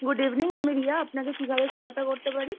Good evening আমি রিয়া আপনাকে কিভাবে সহায়তা করতে পারি?